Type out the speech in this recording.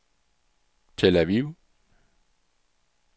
Tel Aviv